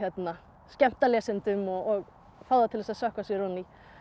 skemmta lesendum og fá til að sökkva sér ofan í